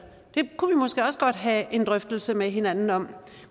kunne vi måske også godt have en drøftelse med hinanden om